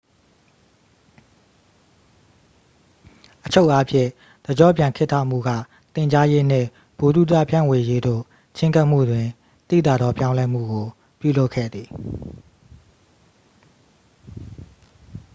အချုပ်အားဖြင့် တစ်ကျော့ပြန်ခေတ်ထမှုက သင်ကြားရေးနှင့် ဗဟုသုတ ဖြန့်ဝေရေးသို့ ချဉ်းကပ်မှုတွင် သိသာသော ပြောင်းလဲမှုကို ပြုလုပ်ခဲ့သည်